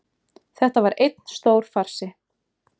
Þetta var einn stór farsi